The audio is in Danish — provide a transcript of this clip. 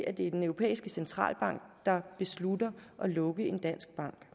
at det er den europæiske centralbank der beslutter at lukke en dansk bank